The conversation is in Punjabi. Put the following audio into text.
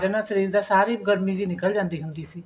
ਸ਼ਰੀਰ ਦਾ ਸਾਰੀ ਗਰਮੀ ਜੀ ਨਿਕਲ ਜਾਂਦੀ ਹੁੰਦੀ ਸੀ